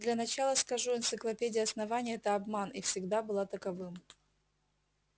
для начала скажу энциклопедия основания это обман и всегда была таковым